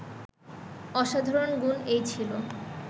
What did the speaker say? অসাধারণ গুণ এই ছিল